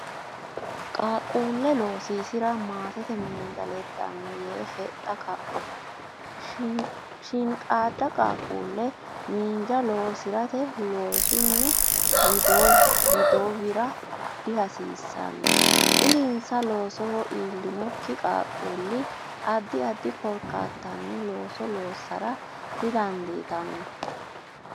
Qaaqquulle loosiisi ra maatete miinja leddanno yee hexxa kaphoho Shiinqaadda qaaqquulle miinja lossi rate loosunni wido wira dihasiissanno Dirinsa loosoho iillinokki qaaqquulli addi addi korkaattanni looso loossara dandiitanno.